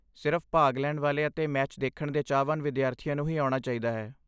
ਸਿਰਫ਼ ਭਾਗ ਲੈਣ ਵਾਲੇ ਅਤੇ ਮੈਚ ਦੇਖਣ ਦੇ ਚਾਹਵਾਨ ਵਿਦਿਆਰਥੀਆਂ ਨੂੰ ਹੀ ਆਉਣਾ ਚਾਹੀਦਾ ਹੈ।